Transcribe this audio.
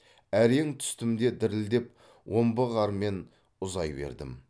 әрең түстім де дірілдеп омбы қармен ұзай бердім